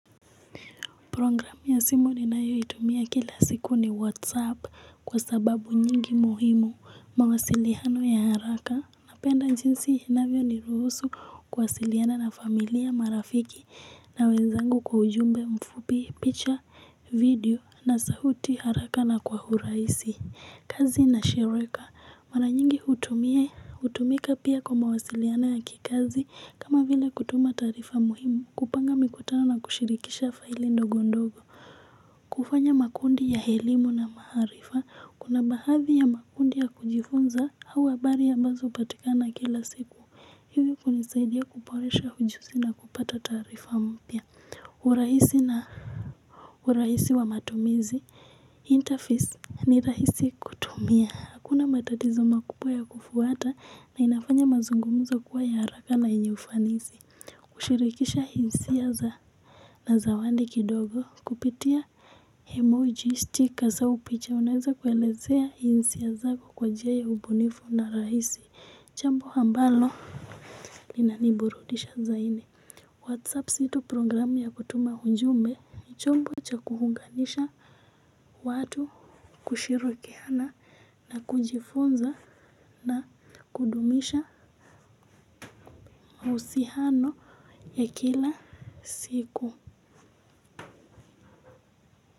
Programu ya simu ninayo itumia kila siku ni whatsapp kwa sababu nyingi muhimu mawasiliano ya haraka, napenda jinsi inavyo ni ruhusu kuwasiliana na familia, marafiki na wenzangu kwa ujumbe mfupi, picha, video na sauti haraka na kwa urahisi. Kazi na shirika mara nyingi hutumika pia kwa mawasiliano ya kikazi kama vile kutuma taarifa muhimu, kupanga mikutano na kushirikisha faili ndogo ndogo. Kufanya makundi ya elimu na maarifa kuna baadhi ya makundi ya kujifunza huwa habari ambazo hupatikana kila siku hivi kunisaidia kuboresha ujuzi na kupata taarifa mpya. Urahisi na urahisi wa matumizi Interface ni rahisi kutumia hakuna matatizo makubwa ya kufuata na inafanya mazungumzo kuwa ya haraka na yenye ufanisi kushirikisha hisia za na zawadi kidogo kupitia emoji sticker au picha, unaweza kwelezea hisia zako kwa njia ya ubunifu na rahisi jambo ambalo linaniburudisha zaidi. Whatsapp sio tu programu ya kutuma ujumbe ni chombo cha kuunganisha watu kushilikiana na kujifunza na kudumisha mahusiano ya kila siku.